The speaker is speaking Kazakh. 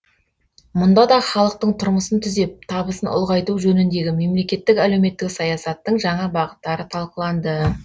мұнда да халықтың тұрмысын түзеп табысын ұлғайту жөніндегі мемлекеттік әлеуметтік саясаттың жаңа бағыттары талқыланды